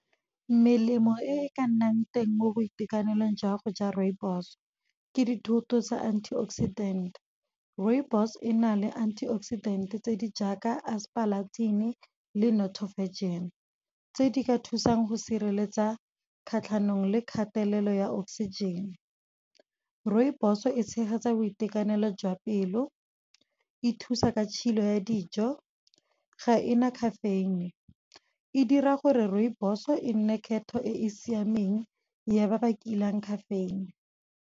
Melemo e e ka nnang teng mo boitekanelong jwa go ja rooibos, ke dithoto tsa anti oxidant. Rooibos ena le antioxidant tse di jaaka aspalathin le nothofagin. Tse di ka thusang go sireletsa kgatlhanong le kgatelelo ya oxygen. Rooibos e tshegetsa boitekanelo jwa pelo, e thusa ka tshilo ya dijo, ga e na caffeine. E dira gore rooibos e nne kgetho e e siameng ya ba ba kilang caffeine.